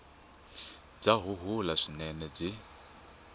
bya huhula swinene naswona byi